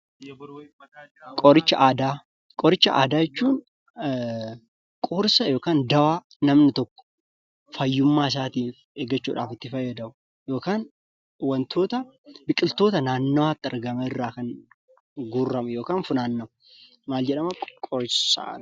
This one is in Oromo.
Qoricha aadaa, qoricha aadaa jechuun qorsa yookan dawaa namni tokko fayyummaa isaatif eeggachuudhaaf itti fayyadamu yookan wantoota biqiltoota naannawaatti argaman irraa kan guurramu yookan funaannamu maal jedhamaa qorsaa.